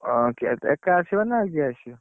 ହଁ okay okay ଏକା ଆସିବ ନା ଆଉ କିଏ ଆସିବ?